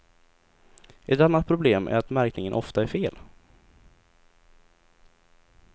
Ett annat problem är att märkningen ofta är fel.